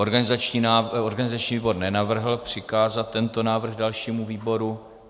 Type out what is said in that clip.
Organizační výbor nenavrhl přikázat tento návrh dalšímu výboru.